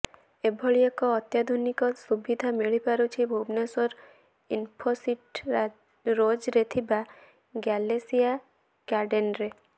ଏଭଳି ଏକ ଅତ୍ୟାଧୁନିକ ସୁବିଧା ମିଳିପାରୁଛି ଭୁବନେଶ୍ୱର ଇନଫୋସିଟି ରୋଜରେ ଥିବା ଗ୍ୟାଲେସିଆ ଗାର୍ଡେନରେ